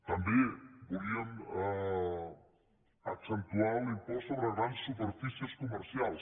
també volíem accentuar l’impost sobre grans superfícies comercials